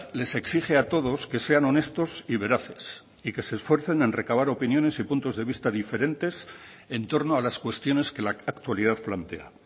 les exige a todos que sean honestos y veraces y que se esfuercen en recabar opiniones y puntos de vista diferentes en torno a las cuestiones que la actualidad plantea